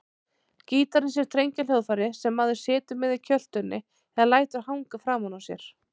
Gítarinn er strengjahljóðfæri sem maður situr með í kjöltunni eða lætur hanga framan á sér.